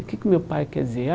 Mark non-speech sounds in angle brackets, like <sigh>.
O que que meu pai quer dizer? <unintelligible>